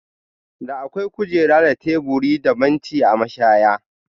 Da akwai kujera da teburi da banci a mashaya.